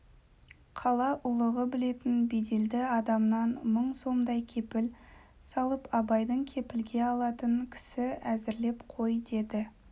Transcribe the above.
қала ұлығы білетін беделді адамнан мың сомдай кепіл салып абайды кепілге алатын кісі әзірлеп қой деді